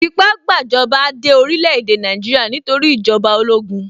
Ìfipá-gbàjọba dé orílẹ̀-èdè Nàìjíríà nítorí ìjọba ológun.